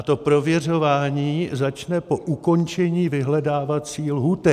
A to prověřování začne po ukončení vyhledávací lhůty.